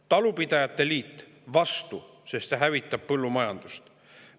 Talupidajate liit oli vastu, sest see hävitab põllumajandust.